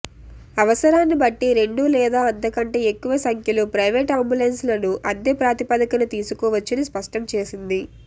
అవసరాన్ని బట్టి రెండు లేదా అంతకంటే ఎక్కువ సంఖ్యలో ప్రైవేటు అంబులెన్సులను అద్దె ప్రాతిపదికన తీసుకోవచ్చని స్పష్టం చేసింది